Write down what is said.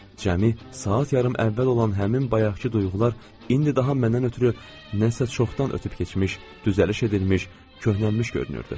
Cəmi saat yarım əvvəl olan həmin bayaqkı duyğular indi daha məndən ötrü nəsə çoxdan ötüb keçmiş, düzəliş edilmiş, köhnəlmiş görünürdü.